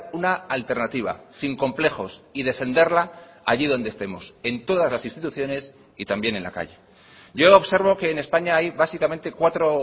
una alternativa sin complejos y defenderla allí donde estemos en todas las instituciones y también en la calle yo observo que en españa hay básicamente cuatro